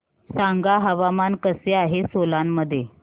सांगा हवामान कसे आहे सोलान मध्ये